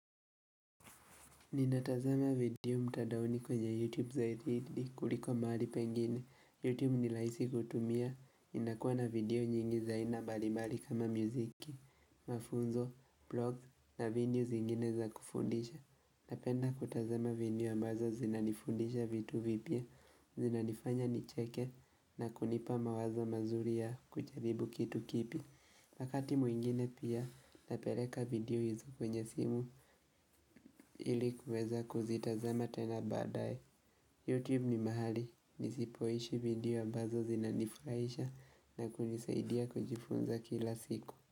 Ninatazama video mtandaoni kwenye YouTube zaidi kuliko mahali pengine. YouTube ni rahisi kutumia, inakuwa na video nyingi za aina mbalimbali kama muziki, mafunzo, blog na videos zingine za kufundisha. Napenda kutazama video ambazo zinanifundisha vitu vipya, zinanifanya nicheke na kunipa mawazo mazuri ya kujaribu kitu kipya. Wakati mwingine pia napeleka video hizo kwenye simu ili kuweza kuzitazama tena baadaye. Youtube ni mahali nisipoishi video ambazo zinanifurahisha na kunisaidia kujifunza kila siku.